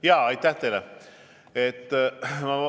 Jaa, aitäh teile!